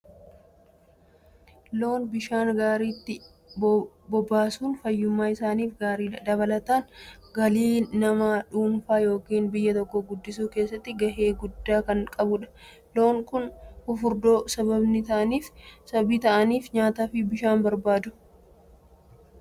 Loon bishaan gaariitti bobbaasuun fayyummaa isaaniif gaariidha. Dabalataan galii nama dhuunfaa yookiin biyya tokkoo guddisuu keessatti gahee guddaa kan qabudha. Loon kun fufurdoo sababni ta'aniif, nyaataa fi bishaan barbaachisu waan argataniifidha.